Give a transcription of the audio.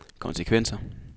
konsekvenser